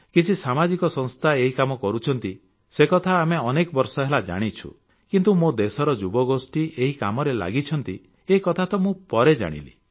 କିଛି ସାମାଜିକ ସଂସ୍ଥା ଏହି କାମ କରୁଛନ୍ତି ସେ କଥା ଆମେ ଅନେକ ବର୍ଷ ହେଲା ଜାଣିଛୁ କିନ୍ତୁ ମୋ ଦେଶର ଯୁବଗୋଷ୍ଠୀ ଏହି କାମରେ ଲାଗିଛନ୍ତି ଏକଥା ତ ମୁଁ ପରେ ଜାଣିଲି